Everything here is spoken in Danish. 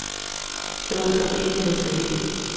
Der var altså rigeligt at tage af.